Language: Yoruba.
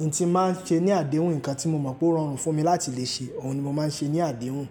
n tí mo máa ń ṣe ní àdéhùn, nǹkan tí mo mọ̀ pé ó rorun fún mi láti lè ṣe, òun ni mo máa ń ṣe ní àdéhùn.